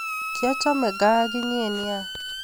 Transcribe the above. Kiachame gaa okinye nea